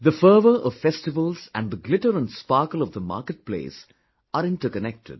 The fervour of festivals and the glitter and sparkle of the marketplace are interconnected